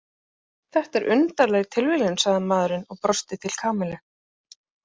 Þetta er undarleg tilviljun sagði maðurinn og brosti til Kamillu.